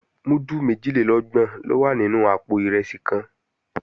Múdù méjìlélọ́gbọ̀n ló máa wà nínú àpò ìrẹsì kan